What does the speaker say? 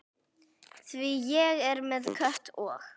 Því ég er með Kötu og